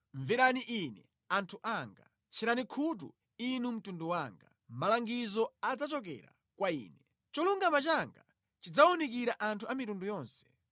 “Mverani Ine, anthu anga: tcherani khutu, inu mtundu wanga: malangizo adzachokera kwa Ine; cholungama changa chidzawunikira anthu a mitundu yonse.